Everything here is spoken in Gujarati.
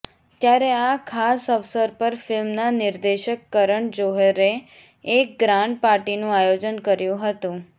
ત્યારે આ ખાસ અવસર પર ફિલ્મના નિર્દેશક કરણ જોહરે એક ગ્રાન્ડ પાર્ટીનું આયોજન કર્યું હતું